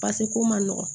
ko man nɔgɔn